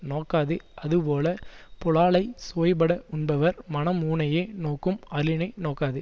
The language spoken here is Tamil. நோக்காது அதுபோல புலாலைச் சுவைபட உண்பவர் மனம் ஊனையே நோக்கும் அளினை நோக்காது